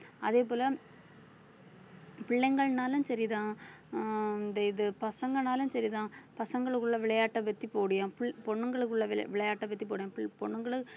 அதே போல பிள்ளைங்கனாலும் சரிதான் அஹ் அந்த இது பசங்கனாலும் சரிதான் பசங்களுக்கு உள்ள விளையாட்ட பத்தி பிள்~ பொண்ணுங்களுக்குள்ள விளை~ விளையாட்டை பத்தி